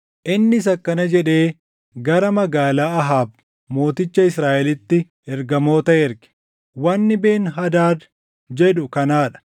Innis akkana jedhee gara magaalaa Ahaab mooticha Israaʼelitti ergamoota erge; “Wanni Ben-Hadaad jedhu kanaa dha;